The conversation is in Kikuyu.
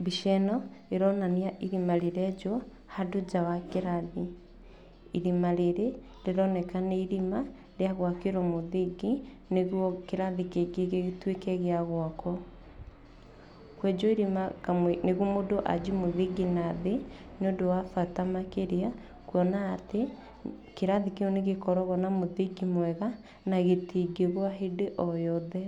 Mbica ĩno ĩronania irima rĩrenjwo handũ nja wa kĩrathi. Irima rĩrĩ rĩroneka nĩ irima rĩa gwakĩrwo mũthingi, nĩguo kĩrathi kĩngĩ gĩtweke gĩa gwakwa. Kwenjwo irima kamwĩ nĩguo mũndũ ambie mũthingi nathĩ nĩ ũndũ wa bata makĩria kuona atĩ, kĩrathi kĩu nĩ gĩkoragwo na mũthingi mwega, na gĩtingĩgwa hĩndĩ oyothe,